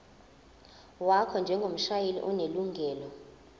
wakho njengomshayeli onelungelo